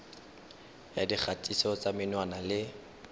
ya dikgatiso tsa menwana le